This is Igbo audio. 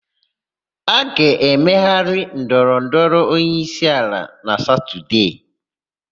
A ga-emegharị ndọrọndọrọ onyeisiala na Satọdee.